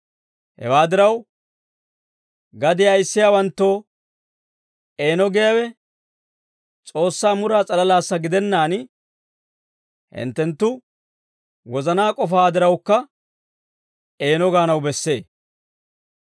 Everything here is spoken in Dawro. Hewaa diraw, gadiyaa ayissiyaawanttoo eeno giyaawe S'oossaa muraa s'alalaassa gidennaan, hinttenttu wozanaa k'ofaa dirawukka eeno gaanaw bessee.